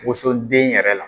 Woson den yɛrɛ la.